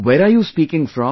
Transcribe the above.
Where are you speaking from